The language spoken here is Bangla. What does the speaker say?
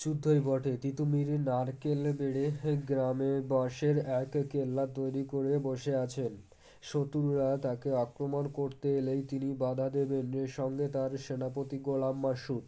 যুদ্ধই বটে তীতুমীরের নারকেল বেড়ে গ্রামে বাঁশের এক কেল্লা তৈরি করে বসে আছেন শক্রুরা তাকে আক্রমণ করতে এলেই তিনি বাঁধা দেবেন এ সঙ্গে তার সেনাপতি গোলাম বাসু